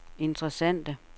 interessante